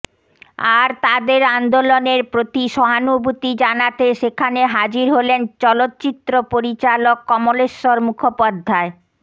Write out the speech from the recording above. আর তাদের আন্দোলনের প্রতি সহানভূতি জানাতে সেখানে হাজির হলেন চলচ্চিত্র পরিচালক কমলেশ্বর মুখোপাধ্যায়